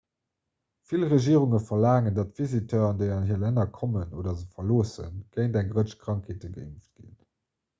vill regierunge verlaangen datt visiteuren déi an hir länner kommen oder se verloossen géint eng rëtsch krankheete geimpft ginn